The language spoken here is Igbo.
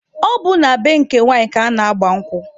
Ọ bụ na be nke nwanyị ka ana-agba nkwụ.